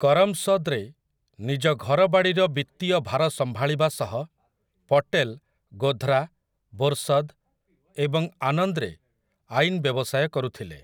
କରମ୍‌ସଦ୍‌ରେ ନିଜ ଘରବାଡ଼ିର ବିତ୍ତୀୟ ଭାର ସମ୍ଭାଳିବା ସହ ପଟେଲ୍ ଗୋଧ୍‌ରା, ବୋର୍‌ସଦ୍‌ ଏବଂ ଆନନ୍ଦ୍‌ରେ ଆଇନ୍‌ ବ୍ୟବସାୟ କରୁଥିଲେ ।